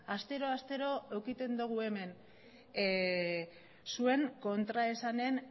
astero astero edukitzen dugu hemen zuen kontraesanen